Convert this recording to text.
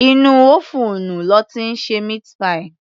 Inú ófúùnù lọ́ ti ń ṣe meat pie